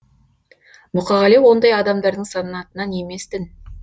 мұқағали ондай адамдардың санатынан еместін